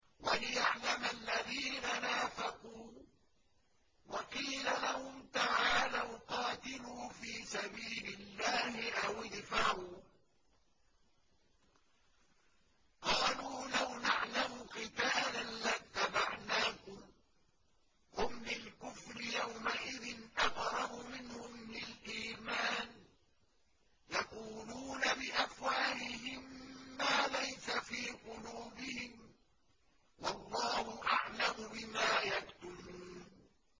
وَلِيَعْلَمَ الَّذِينَ نَافَقُوا ۚ وَقِيلَ لَهُمْ تَعَالَوْا قَاتِلُوا فِي سَبِيلِ اللَّهِ أَوِ ادْفَعُوا ۖ قَالُوا لَوْ نَعْلَمُ قِتَالًا لَّاتَّبَعْنَاكُمْ ۗ هُمْ لِلْكُفْرِ يَوْمَئِذٍ أَقْرَبُ مِنْهُمْ لِلْإِيمَانِ ۚ يَقُولُونَ بِأَفْوَاهِهِم مَّا لَيْسَ فِي قُلُوبِهِمْ ۗ وَاللَّهُ أَعْلَمُ بِمَا يَكْتُمُونَ